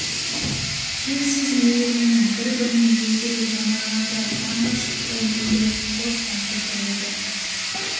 шексіз мейіріммен бір-біріне елжірей жанарларда таңғы шықтай мөлдіреп қос тамшы тұр еді